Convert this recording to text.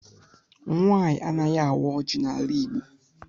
Nwaanyị anaghị awa oji n' ala igbo.